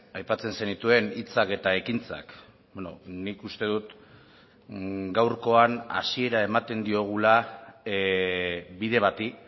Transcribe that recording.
aipatzen zenituen hitzak eta ekintzak nik uste dut gaurkoan hasiera ematen diogula bide bati